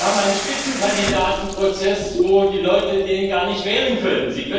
Wir haben einen Spitzenkandidatenprozess, wo die Leute den gar nicht wählen können.